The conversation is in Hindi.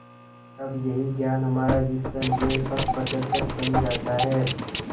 तब यही ज्ञान हमारा विश्वसनीय पथप्रदर्शक बन जाता है